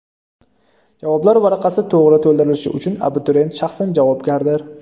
Javoblar varaqasi to‘g‘ri to‘ldirilishi uchun abituriyent shaxsan javobgardir.